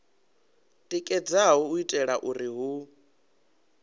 tikedzaho u itela uri hu